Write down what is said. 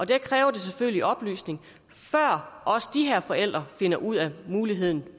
det kræver selvfølgelig oplysning før også de her forældre finder ud af muligheden